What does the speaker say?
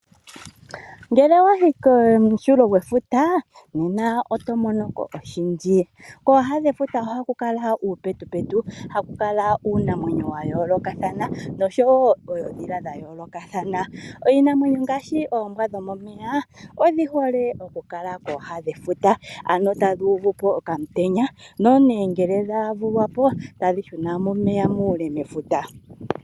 Ngele owa yi komunkulo gwefuta nena oto mono ko oshindji. Kooha dhefuta ohaku kala uupetupetu, haku kala uunamwenyo wa yoolokathana nosho wo oondhila dha yoolokathana. Iinamwenyo ngaashi oombwa dhomomeya odhi hole okukala kooha dhefuta, ano tadhi uvu po okamutenya nongele dha vulwa po tadhi shu na momeya muule mefuta.